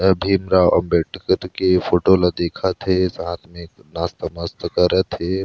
भीमराव अंबेडकर के फोटो ला दिखत है साथ में नास्ता - पास्ता करत हे।